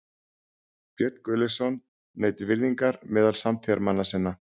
Björn Gunnlaugsson naut virðingar meðal samtíðarmanna sinna.